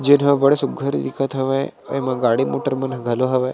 जो झ अब्बड़ सुघघर दिखत हवय अऊ एमा गाड़ी मोटर मन ह घलो हवय।